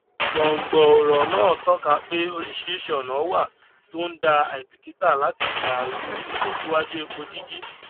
gbòngbò ọrọ náà tọka pé oríṣiríṣi ọnà wà tó ń dá àìbìkítà láti dàrú ìtẹsíwajú epo jíjí